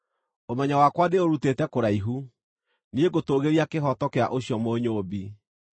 Ũmenyo wakwa ndĩũrutĩte kũraihu; niĩ ngũtũũgĩria kĩhooto kĩa ũcio Mũnyũũmbi.